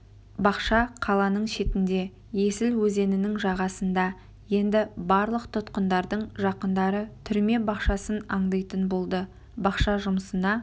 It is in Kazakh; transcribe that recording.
бақша қаланың шетінде есіл өзенінің жағасында енді барлық тұтқындардың жақындары түрме бақшасын аңдитын болды бақша жұмысына